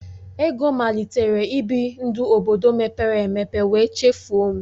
Ego malitere ibi ndụ obodo mepere emepe wee chefuo m